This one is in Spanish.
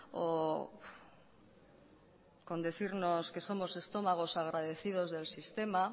o con decirnos que somos estómagos agradecidos del sistema